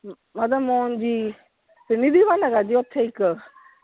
ਮੱਧਮ ਮੋਹਨ ਜੀ ਹੈਗਾ ਜੇ ਓਥੇ ਇੱਕ।